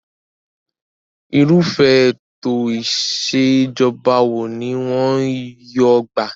Irúfẹ́ ètò ìṣèjọba wo ni wọ́n yóò gbà?